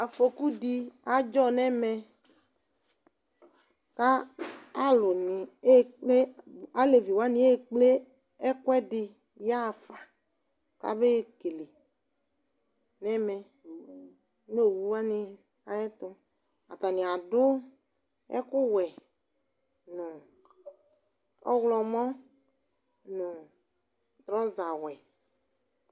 Afoku dɩ adzɔ nʋ ɛmɛ kʋ alʋnɩ aɣa ekple, alevi wanɩ aɣa ekple ɛkʋɛdɩ yaɣa fa kabaɣa ekele nʋ ɛmɛ nʋ owu wanɩ ayɛtʋ Atanɩ adʋ ɛkʋwɛ nʋ ɔɣlɔmɔ nʋ trɔzawɛ